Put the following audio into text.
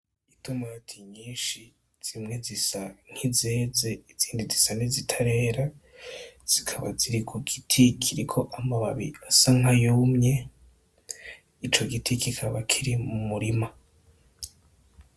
Itomati nyinshi zimwe zisa nk'izeze izindi zisa n'izitarera , zikaba ziri ku giti kiriko amababi asa n'ayumye .Ico giti kikaba kiri mu murima.